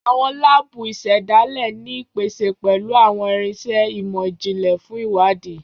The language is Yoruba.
Àwọn lábùù isedale ni ipese pẹlu awọn irinṣẹ imọ-jinlẹ fun iwadi